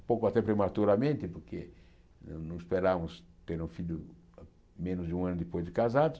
um pouco até prematuramente, porque não esperávamos ter um filho menos de um ano depois de casados.